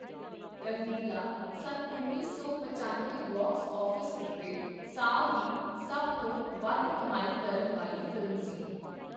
ਰੰਗੀਲਾ, ਸੰਨ ਉੱਨੀ ਸੌ ਪਚੱਨਵੇਂ ਬਾਕਸ ਆਫ਼ਿਸ ਉੱਤੇ ਸਾਲ ਦੀ ਸਭ ਤੋਂ ਵੱਧ ਕਮਾਈ ਕਰਨ ਵਾਲੀ ਫ਼ਿਲਮ ਸੀ